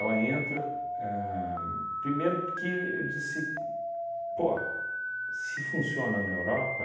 entra ahn, primeiro, porque eu disse, pô, se funciona na Europa,